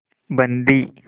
बंदी